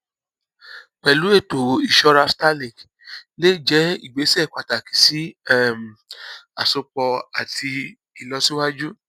pẹlú ètò ìṣọra starlink lè jẹ ìgbésẹ pàtàkì sí um àsopọ àti ìlọsíwájú